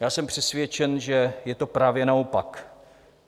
Já jsem přesvědčen, že je to právě naopak.